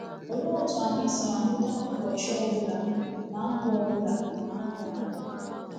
Olee otu anyị si ahụta ụbọchị ọbụla na ndụ ọbụla na ndụ anyị?